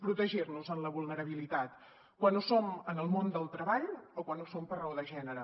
protegir nos en la vulnerabilitat quan ho som en el món del treball o quan ho som per raó de gènere